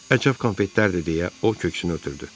Əcəb konfetlərdi deyə o köksünü ötürdü.